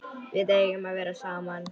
Við eigum að vera saman.